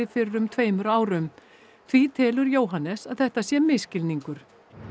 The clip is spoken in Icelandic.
fyrir um tveimur árum því telur Jóhannes að þetta sé misskilningur